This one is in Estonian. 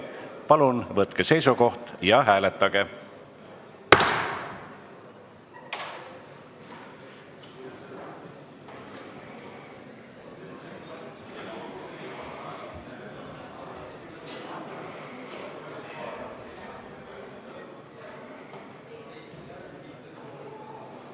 Palun võtke seisukoht ja hääletage!